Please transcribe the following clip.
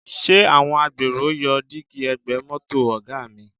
Ṣé àwọn agbèrò yọ dígí ẹ̀gbẹ́ mọ́tò Ọ̀ga mi?